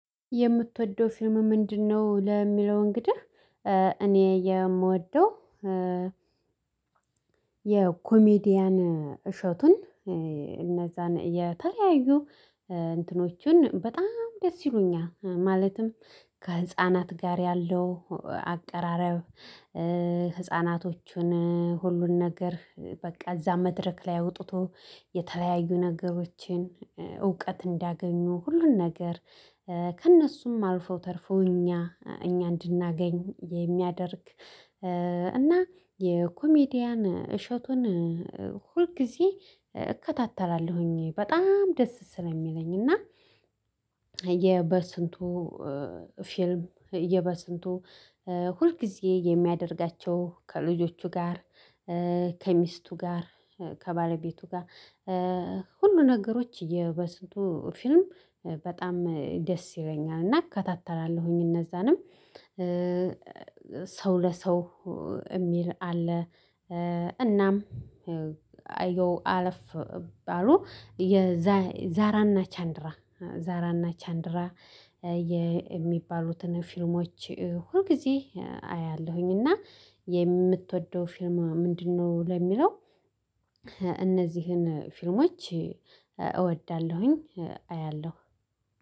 የምትወደው ፊልም ምንድነው? ለሚለው እንግዲህ እኔ የምወደው የኮሜዲያን እሸቱን እነዛን የተለያዩ እንትኖችን በጣም ደስ ይሉኛል። ማለትም ከህፃናት ጋር ያለው አቀራረብ ህፃናቶቹን ሁሉን ነገር በቃ እዛ መድረክ ላይ አውጥቶ የተለያዩ ነገሮችን እውቀት እንዲያገኙ ሁሉን ነገር ከእነሱም አልፈው ተርፈው እኛ እኛ እንድናገኝ የሚያደርግ እና የኮሜዲያን እሸቱን ሁል ጊዜ እከታተላለሁኝ በጣም ደስ ስለሚለኝ እና የበስንቱ ፊልም የበስንቱ ሁልጊዜ የሚያደርጋቸው ከልጆቹ ጋር ከሚስቱ ጋር ከባለቤቱ ጋር ሁሉ ነገሮች የበስንቱ ፊልም በጣም ደስ ይለኛል እና እከታተላለሁኝ እነዛንም ሰው ለሰው የሚል አለ። እናም አየው አለፍ አሉ የዛራና ቻንድራ ዛራና ቻንድራ የሚባሉትን ፊልሞች ሁል ጊዜ አያለሁኝ። እና የምትወደው ፊልማ ምንድነው ለሚለው እነዚህን ፊልሞች እወዳለሁኝ አያለሁ።